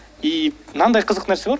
и мынандай қызық нәрсе бар